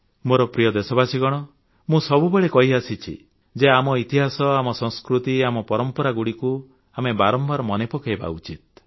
ମୋର ପ୍ରିୟ ଦେଶବାସୀଗଣ ମୁଁ ସବୁବେଳେ କହିଆସିଛି ଯେ ଆମ ଇତିହାସ ଆମ ସଂସ୍କୃତି ଓ ଆମ ପରମ୍ପରାଗୁଡ଼ିକୁ ଆମେ ବାରମ୍ବାର ମନେ ପକାଇବା ଉଚିତ